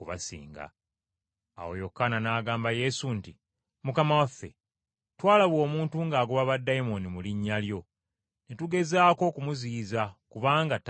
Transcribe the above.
Awo Yokaana n’agamba Yesu nti, “Mukama waffe, twalaba omuntu ng’agoba baddayimooni mu linnya lyo ne tugezaako okumuziyiza kubanga tayita naffe.”